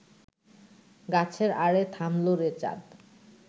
গাছের আড়ে থামল রে চাঁদ